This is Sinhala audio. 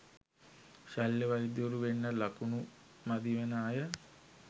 ශල්‍ය වෛද්‍යවරු වෙන්න ළකුණු මදි වෙන අය